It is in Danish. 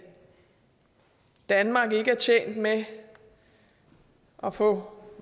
danmark ikke er tjent med at få